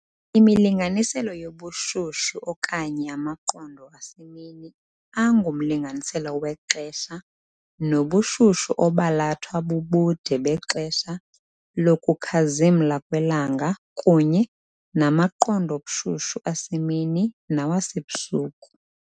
Imilinganiselo yobushushu okanye amaqondo asemini angumlinganiselo wexesha nobushushu obalathwa bubude bexesha lokukhazimla kwelanga kunye namaqondo obushushu asemini nawasebusuku.